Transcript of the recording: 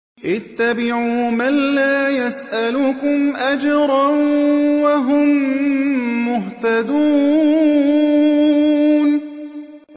اتَّبِعُوا مَن لَّا يَسْأَلُكُمْ أَجْرًا وَهُم مُّهْتَدُونَ